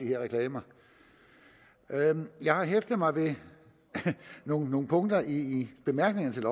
her reklamer jeg har hæftet mig ved nogle nogle punkter i bemærkningerne til